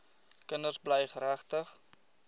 kinders bly geregtig